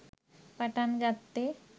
පටන් ගත්තෙ.